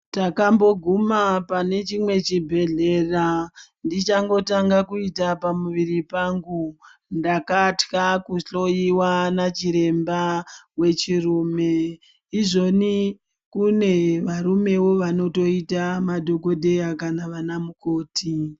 Takamboguma pane chimwe chibhedhlera, ndichangotanga kuita pamuviri pangu. Ndakatya kuhloyiwa nachiremba wechirume. Izvoni kune varumewo vanotoita madhogodheya kana vanamukoti.